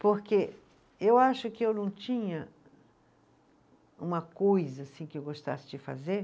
Porque eu acho que eu não tinha uma coisa que eu gostasse de fazer.